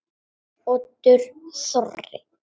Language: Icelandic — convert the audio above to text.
Oddur Þorri.